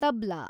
tabla